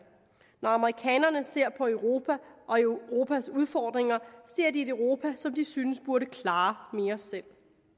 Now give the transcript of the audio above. når amerikanerne ser på europa og europas udfordringer ser de et europa som de synes burde klare mere selv